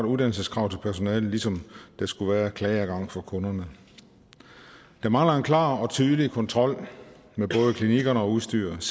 uddannelseskrav til personalet ligesom der skulle være klageadgang for kunderne der mangler en klar og tydelig kontrol med både klinikkerne og udstyret